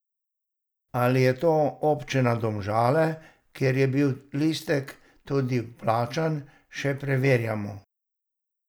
Ali je to občina Domžale, kjer je bil listek tudi vplačan, še preverjamo.